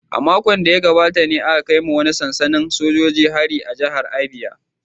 A makon da ya gabata ne aka kai wa wani sansanin sojoji hari a jihar Abia